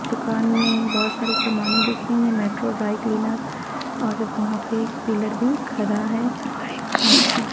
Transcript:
दुकान में बहुत सारे सामानें दिख रही हैं मेट्रो ड्राई क्लीनर और वहाँ पे एक पिलर भी खड़ा है और काँच की --